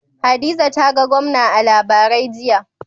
Hadiza ta ga gwamna a labarai, jiya.